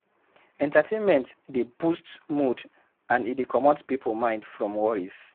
Entertainment dey boost mood and e dey comot pipo mind from worries